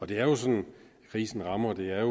det er sådan krisen rammer det er